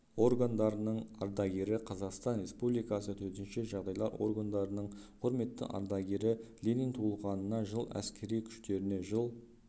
органдарының ардагері қазақстан республикасы төтенше жағдайлар органдарының құрметті ардагері ленин туылғанына жыл әскери күштеріне жыл